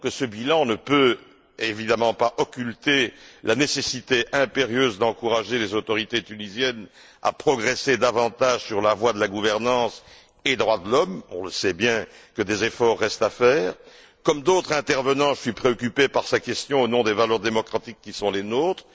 J'admets que ce bilan ne peut évidemment pas occulter la nécessité impérieuse d'encourager les autorités tunisiennes à progresser davantage sur la voie de la gouvernance et des droits de l'homme on sait bien que des efforts restent à faire. Comme d'autres intervenants, je suis préoccupé par cette question, au nom des valeurs démocratiques qui sont les nôtres.